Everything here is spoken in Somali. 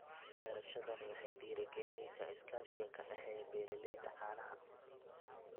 Beerashadani waxay dhiirigelinaysaa iskaashiga ka dhexeeya beeralayda caanaha.